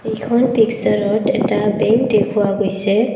এইখন পিকচাৰত এটা বেঙ্ক দেখুওৱা গৈছে।